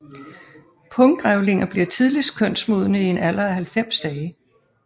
Punggrævlinger bliver tidligst kønsmodne i en alder af 90 dage